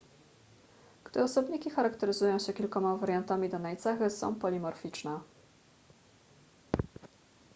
gdy osobniki charakteryzują się kilkoma wariantami danej cechy są polimorficzne